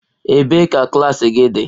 Ebee ka klas gị dị?